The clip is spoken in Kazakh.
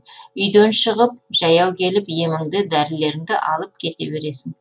үйден шығып жаяу келіп еміңді дәрілеріңді алып кете бересің